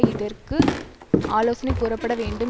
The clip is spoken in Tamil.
இதற்கு ஆலோசனை கூறப்பட வேண்டும்